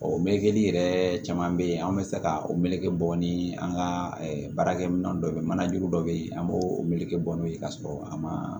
me yɛrɛ caman bɛ yen an bɛ se ka o meleke bɔ ni an ka baarakɛminɛn dɔ ye manajuru dɔ bɛ yen an b'o meleke bɔn n'o ye ka sɔrɔ a ma